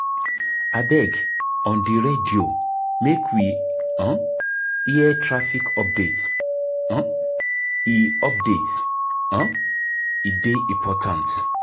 Abeg, on di radio make we um hear traffic update, um e update, um e dey important.